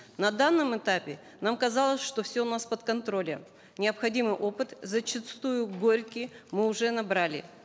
на данном этапе нам казалось что все у нас под контролем необходимый опыт зачастую горький мы уже набрали